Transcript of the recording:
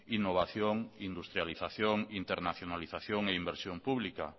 innovación industrialización internacionalización e inversión pública